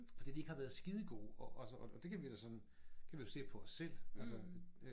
Fordi de ikke har været skidegode og og så og det kan vi da sådan kan vi jo se på os selv altså